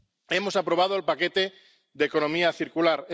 Hemos aprobado el paquete de economía circular.